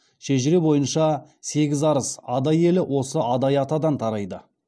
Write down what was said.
шежіре бойынша сегіз арыс адай елі осы адай атадан тарайды